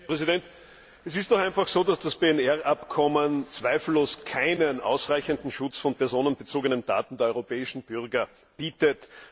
Herr Präsident! Es ist doch einfach so, dass das PNR Abkommen zweifellos keinen ausreichenden Schutz von personenbezogenen Daten der europäischen Bürger bietet.